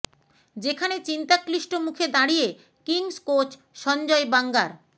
যেখানে চিন্তাক্লিষ্ট মুখে দাঁড়িয়ে কিঙ্গস কোচ সঞ্জয় বাঙ্গার